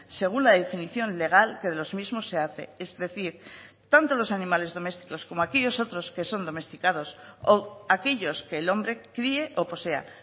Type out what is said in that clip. según la definición legal que de los mismos se hace es decir tanto los animales domésticos como aquellos otros que son domesticados o aquellos que el hombre críe o posea